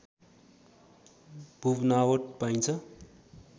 भूबनावट पाइन्छ